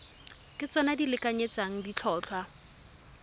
ke tsona di lekanyetsang ditlhotlhwa